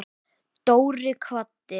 Dóri kvaddi.